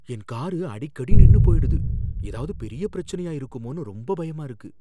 என் car அடிக்கடி நின்னு போயிடுது. ஏதாவது பெரிய பிரச்சனையா இருக்குமோன்னு ரொம்ப பயமா இருக்கு!